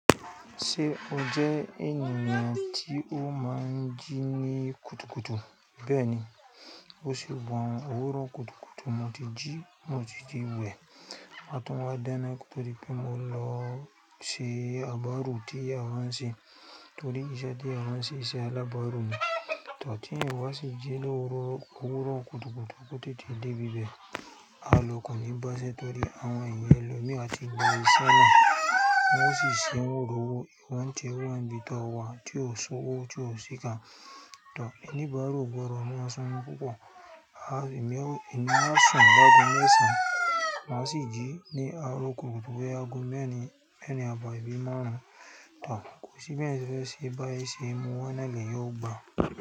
Ṣé o jẹ́ ènìyàn tí ó máa ń jí ní kùtùkùtù? Bẹ́ẹ̀ni. Bo ṣe wọ́n òwúrọ̀ kùtùkùtù mo ti jí, mo ti jí wẹ̀. Mo máa tún máa dáná kó tó di pé mo lọ sí abárù tí a wá ń ṣe torí iṣẹ́ tí a wá ń ṣe ìṣe alábàárù ni. Tàbí tí ènìyàn wá sì jí lọ́wọ́ òwúrọ̀ kùtùkùtù, tó tètè dé ibi bẹ́ẹ̀, à lọ kò ní báṣẹ́ torí àwọn ẹ̀yà ẹlòmíràn tí ń gba iṣẹ́ náà wọ́n o sì ṣe, wọ̀n o rowọ́. Ìwọ ń tiẹ̀ wà níbi tí o wà, tí ò ṣówó, tí ò sí kán. To, oníbáru ò gbọ́dọ̀ mọ surun púpọ̀, àh èmi á ṣùn lágo mẹ́san, má sì jí ní àárọ̀ kùtùkùtù ní ago mẹ́rin, mẹ́rin àbọ̀ ibi márùn-ún. To kò sí bí ẹ̀eyan sẹ̀ fẹ́ ṣe báye ṣe mú wa náà leeyan ò gbà.